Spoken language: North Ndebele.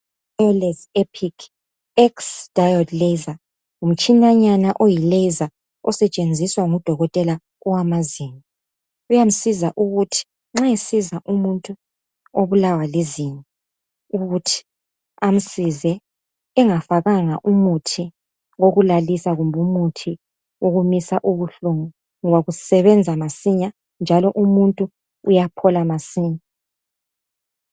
Wireless Epix X laser ngumtshina nyana oyilaser osetshenziswa ngudokotela wama zinyo .Uyamsiza ukuthi nxa esiza umuntu obulawa lizinyo ukuthi amsize engafakanga umuthi wokulalisa kumbe umuthi wokumisa ubuhlungu ngoba usebenza masinya njalo umuntu uyaphola masinya.